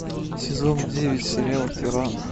сезон девять сериал тиран